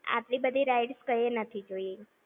આટલી બધી rides કૈંયે નથી જોય!